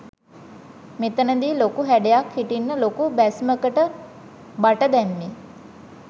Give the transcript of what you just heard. මෙතනදී ලොකු හැඩයක් හිටින්න ලොකු බැස්මකට බට දැම්මේ.